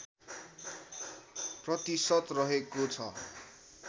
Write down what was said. प्रतिशत रहेको छ